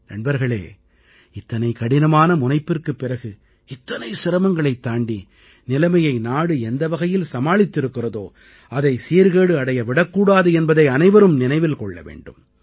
நண்பர்களே இத்தனை கடினமான முனைப்பிற்குப் பிறகு இத்தனை சிரமங்களைத் தாண்டி நிலைமையை நாடு எந்த வகையில் சமாளித்திருக்கிறதோ அதை சீர்கேடு அடைய விடக் கூடாது என்பதை அனைவரும் நினைவில் கொள்ள வேண்டும்